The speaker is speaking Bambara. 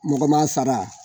Mɔgɔ ma sara ?